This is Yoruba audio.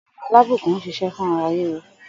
Ògùn 'Alábùkún' ń s̩is̩é̩ fún ara ríro